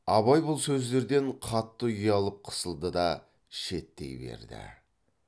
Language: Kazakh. абай бұл сөздерден қатты ұялып қысылды да шеттей берді